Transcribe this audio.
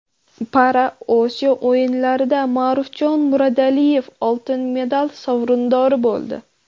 ParaOsiyo o‘yinlarida Ma’rufjon Murodillayev oltin medal sovrindori bo‘ldi.